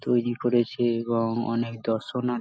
তৈরি করেছে এবং অনেক দর্শনা --